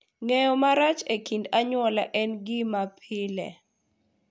Ng’eyo marach e kind anyuola en gima pile,